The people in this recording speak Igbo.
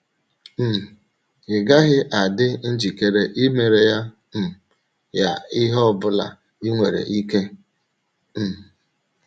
um Ị́ gaghị adị njikere imere um ya ihe ọ bụla i nwere ike? um